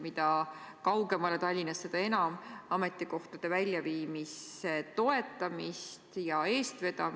Mida kaugemale Tallinnast, seda enam on ju vaja ametikohtade väljaviimise toetamist ja eestvedamist.